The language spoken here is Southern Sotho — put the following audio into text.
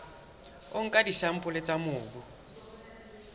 o nka disampole tsa mobu